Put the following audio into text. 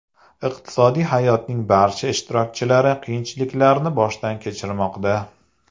Iqtisodiy hayotning barcha ishtirokchilari qiyinchiliklarni boshdan kechirmoqda.